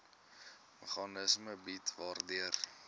meganisme bied waardeur